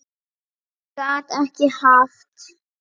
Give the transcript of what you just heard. Hann gat ekki haft